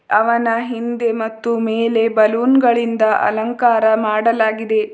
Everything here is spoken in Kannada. ಅವನ ಹಿಂದೆ ಮತ್ತು ಮೇಲುಗಡೆ ಬಲೂನ್ ಗಳಿಂದ ಅಲಂಕಾರ ಮಾಡಲಾಗಿದೆ.